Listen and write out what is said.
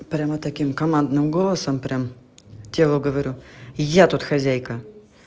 прямо таким командным голосом прям телу говорю я тут хозяйка